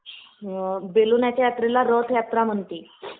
बेलेनाथ यात्रेला रथयात्रा म्हणते